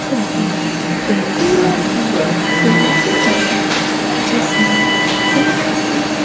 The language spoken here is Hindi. फोटो एक कूलर की शोरूम की है जिसमें कुलर भी है।